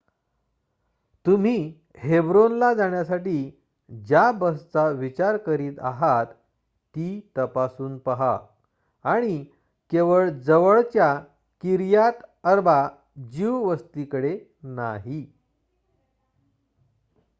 तुम्ही हेब्रोन ला जाण्यासाठी ज्या बसचा विचार करीत आहात ती तपासून पहा आणि केवळ जवळच्या किर्यात अर्बा ज्यू वस्तीकडे नाही